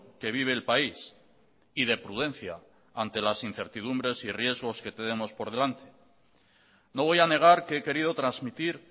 que vive el país y de prudencia ante las incertidumbres y riesgos que tenemos por delante no voy a negar que he querido transmitir